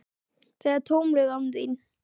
Það er tómlegt án þín.